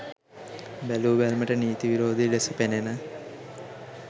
බැලූ බැල්මට නීති විරෝධී ලෙස පෙනෙන